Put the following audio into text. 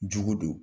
Jugu don